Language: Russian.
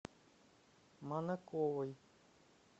манаковой